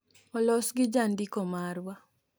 olos gi jandiko marwa, Warshington, DC